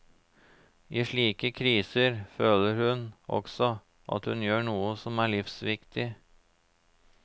I slike kriser føler hun også at hun gjør noe som er livsviktig.